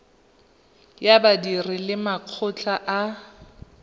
ya badiri le makgotla a